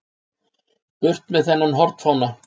Burt með þennan hornfána!